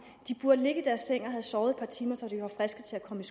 de burde ligge i deres senge og have sovet et par timer så de var friske til at komme